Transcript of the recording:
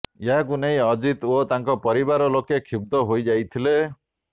ଏହାକୁ ନେଇ ଅଜିତ ଓ ତାଙ୍କ ପରିବାର ଲୋକ କ୍ଷୁବ୍ଧ ହୋଇଯାଇଥିଲେ